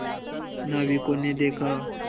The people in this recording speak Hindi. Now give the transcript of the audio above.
नाविकों ने देखा